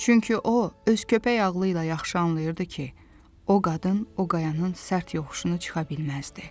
Çünki o, öz köpək ağlıyla yaxşı anlayırdı ki, o qadın o qayanın sərt yoxuşunu çıxa bilməzdi.